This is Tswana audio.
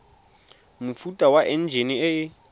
mofuta wa enjine e e